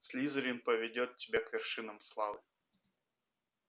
слизерин поведёт тебя к вершинам славы